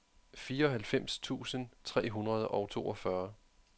fireoghalvfems tusind tre hundrede og toogfyrre